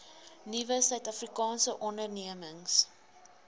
nuwe suidafrikaanse ondernemings